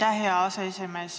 Aitäh, hea aseesimees!